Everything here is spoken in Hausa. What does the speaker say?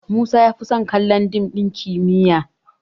Musa ya fi son kallon dim ɗin kimiyyar